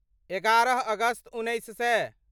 एगारह अगस्त उन्नैस सए